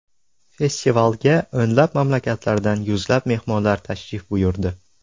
Festivalga o‘nlab mamlakatlardan yuzlab mehmonlar tashrif buyurdi.